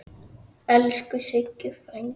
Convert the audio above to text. Elsku Siggi frændi.